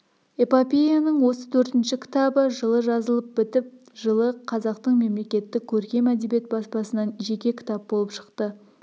эпопеяның осы төртінші кітабы жылы жазылып бітіп жылы қазақтың мемлекеттік көркем әдебиет баспасынан жеке кітап болып шықты